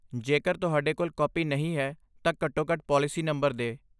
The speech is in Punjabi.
ਜੇਕਰ ਤੁਹਾਡੇ ਕੋਲ ਕਾਪੀ ਨਹੀਂ ਹੈ, ਤਾਂ ਘੱਟੋ ਘੱਟ ਪਾਲਿਸੀ ਨੰਬਰ ਦੇ